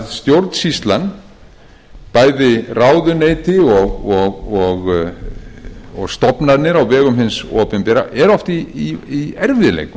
stjórnsýslan bæði ráðuneyti og stofnanir á vegum hins opinbera eru oft í erfiðleikum